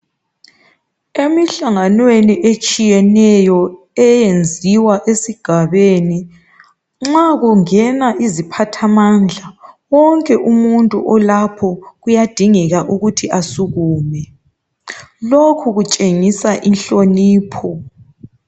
Emihlanganweni etshiyeneyo eyenziwa esigabeni, nxa kungena iziphathamandla, wonke umuntu olapho kuyadingeka ukuthi asukume. Lokhu kutshengisa inhlonipho.